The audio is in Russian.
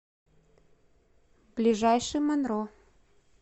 ближайший монро